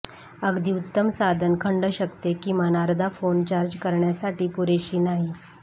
अगदी उत्तम साधन खंड शकते किमान अर्धा फोन चार्ज करण्यासाठी पुरेशी नाही